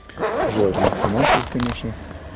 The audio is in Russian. желательно финансовых конечно